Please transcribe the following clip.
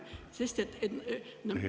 Teie aeg!